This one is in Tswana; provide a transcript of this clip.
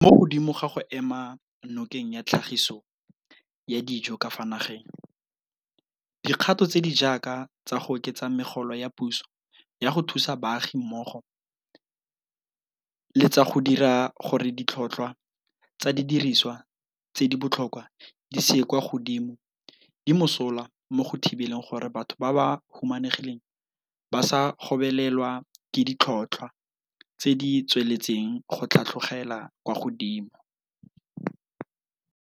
Mo godimo ga go ema nokeng tlhagiso ya dijo ka fa nageng, dikgato tse di jaaka tsa go oketsa megolo ya puso ya go thusa baagi mmogo le tsa go dira gore ditlhotlhwa tsa didirisiwa tse di botlhokwa di se ye kwa godimo di mosola mo go thibeleng gore batho ba ba humanegileng ba se gobelelwe ke ditlhotlhwa tse di tsweletseng go tlhatlhogela kwa godimo.